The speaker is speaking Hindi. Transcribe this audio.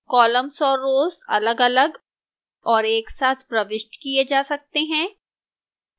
columns और rows अलगअलग और एक साथ प्रविष्ट किए जा सकते हैं